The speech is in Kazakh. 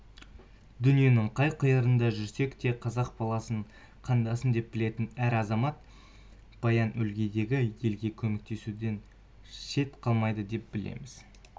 дүниенің қай қиырында жүрсе де қазақ баласын қандасым деп білетін әр азамат баян өлгейдегі елге көмектесуден шет қалмайды деп білеміз